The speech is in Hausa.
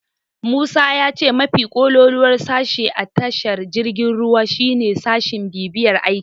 Musa ya ce mafi kololuwar sashe a tashar jirgin ruwa shine sashin bibiyar aiki.